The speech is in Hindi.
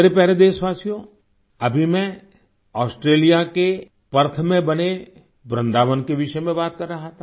मेरे प्यारे देशवासियो अभी मैं ऑस्ट्रेलिया के पर्थ में बने वृन्दावन के विषय में बात कर रहा था